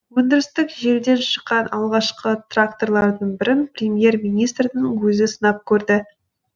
өндірістік желіден шыққан алғашқы тракторлардың бірін премьер министрдің өзі сынап көрді